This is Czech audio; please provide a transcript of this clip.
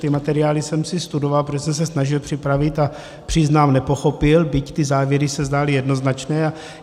Ty materiály jsem si studoval, protože jsem se snažil připravit, a přiznám, nepochopil, byť ty závěry se zdály jednoznačné.